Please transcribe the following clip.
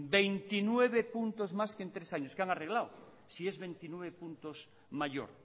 veintinueve puntos más que en tres años qué han arreglado si es veintinueve puntos mayor